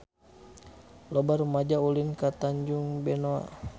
Loba rumaja ulin ka Tanjung Benoa